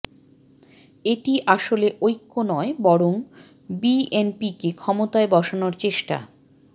এটি আসলে ঐক্য নয় বরং বিএনপিকে ক্ষমতায় বসানোর চেষ্টা